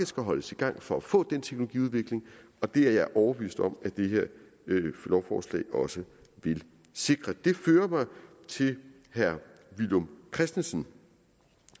skal holdes i gang for at få den teknologiudvikling og det er jeg overbevist om at det her lovforslag også vil sikre det fører mig til herre villum christensen